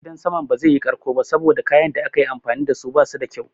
Gidan saman ba zai yi ƙarko ba saboda kayan da aka yi amfani dasu basu da kyau.